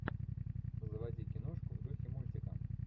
заводи киношку в духе мультика